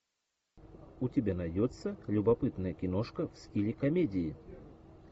у тебя найдется любопытная киношка в стиле комедии